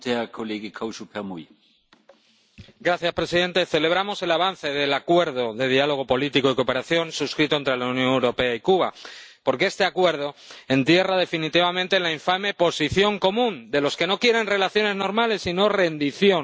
Señor presidente, celebramos el avance del Acuerdo de Diálogo Político y de Cooperación suscrito entre en la Unión Europea y Cuba, porque este Acuerdo entierra definitivamente la infame Posición Común de los que no quieren relaciones normales sino rendición.